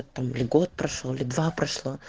там год прошёл или два прошло